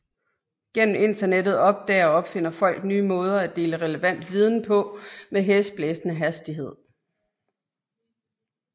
Gennem internettet opdager og opfinder folk nye måder at dele relevant viden på med hæsblæsende hastighed